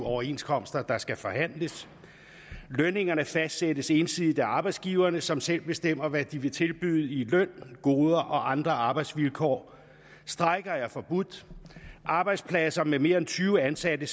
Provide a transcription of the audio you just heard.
overenskomster der skal forhandles lønningerne fastsættes ensidigt af arbejdsgiverne som selv bestemmer hvad de vil tilbyde i løn goder og andre arbejdsvilkår strejker er forbudt arbejdspladser med mere end tyve ansatte